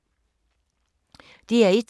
DR1